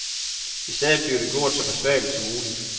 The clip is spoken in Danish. I stedet bliver det gjort så besværligt som muligt.